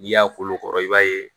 N'i y'a kolo kɔrɔ i b'a ye